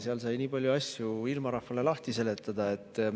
Seal sai nii palju asju ilmarahvale lahti seletada.